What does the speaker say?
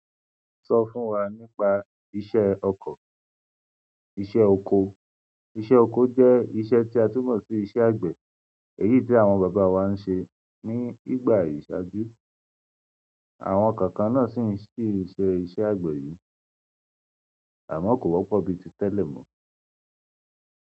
Sọ fún wa nípa iṣẹ́ ọkọ̀, iṣẹ́ oko. Iṣẹ́ oko je iṣẹ́ ti a tun mo si iṣẹ́ agbe eyii ti àwọn baba wa nse nígbà iṣaju. Àwọn kankan náà sì ń ṣe iṣẹ́ àgbẹ̀ yìí àmọ́ kò wọ́pọ̀ bíi ti tẹ́lẹ̀ mọ́.